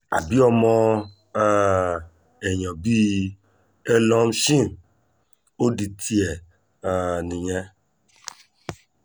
àbí ọmọ um èèyàn bíi elon chim ò di tiẹ̀ um nìyẹn